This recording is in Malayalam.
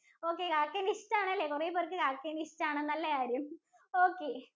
okay കാക്കേനെ ഇഷ്ട്ടാണ് അല്ലേ കുറേ പേർക്ക് കാക്കേനെ ഇഷ്ട്ടാണ്. നല്ല കാര്യം. okay